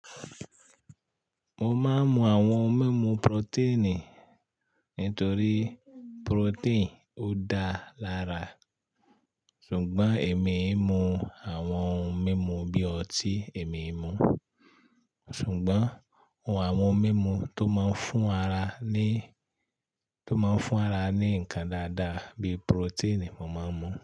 Mo máa ń mu àwọn ohun mímu protein nítorí protein ó dáa lára. Ṣùgbọ́n èmi i mu àwọn ohun mímu bí ọtí èmi i mu. Sugon àwọn oun mímu tó man fún ara ní ǹkan dáadá bí protein mo man mu.